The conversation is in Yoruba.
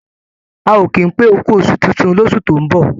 A ò ki pé ókú oṣù tuntun lósù tó ń bọ̀